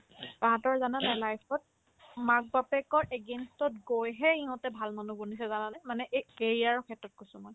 তাহাঁতৰ জানানে নাই life ত মাক-বাপেকৰ against তত গৈহে ইহঁতে ভাল মানুহ বনিছে জানানে মানে এই career ৰৰ ক্ষেত্ৰত কৈছো মই